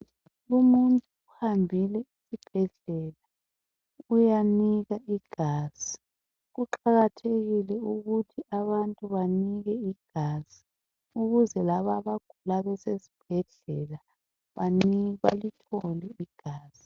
Umuntu uhambile esibhedlela uyanika igazi .Kuqakathekile ukuthi abantu banike igazi ukuze laba abagula besezibhedlela balithole igazi .